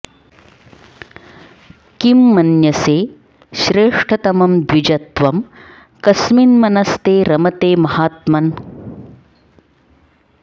किं मन्यसे श्रेष्ठतमं द्विज त्वं कस्मिन्मनस्ते रमते महात्मन्